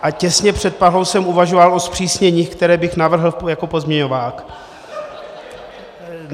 A těsně před Prahou jsem uvažoval o zpřísněních, která bych navrhl jako pozměňovák.